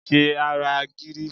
Ṣe ara gírí!